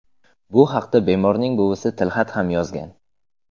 Bu haqda bemorning buvisi tilxat ham yozgan.